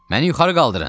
Məni yuxarı qaldırın!